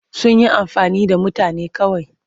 Sun yi amfani da mutane kawai.